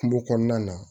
Kungo kɔnɔna na